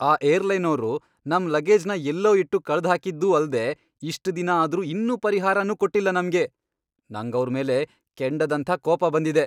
ಆ ಏರ್ಲೈನೋರು ನಮ್ ಲಗೇಜ್ನ ಎಲ್ಲೋ ಇಟ್ಟು ಕಳ್ದ್ಹಾಕಿದ್ದೂ ಅಲ್ದೇ ಇಷ್ಟ್ ದಿನ ಆದ್ರೂ ಇನ್ನೂ ಪರಿಹಾರನೂ ಕೊಟ್ಟಿಲ್ಲ ನಮ್ಗೆ.. ನಂಗವ್ರ್ ಮೇಲೆ ಕೆಂಡದಂಥ ಕೋಪ ಬಂದಿದೆ.